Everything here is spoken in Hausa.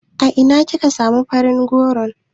A ina kika samu farin goron?